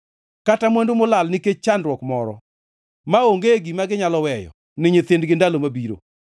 kata mwandu molal nikech chandruok moro, maonge gima ginyalo weyo ni nyithindgi ndalo mabiro.